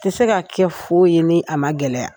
Tɛ se ka kɛ foyi ye ni a ma gɛlɛya.